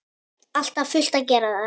Alltaf fullt að gera þar!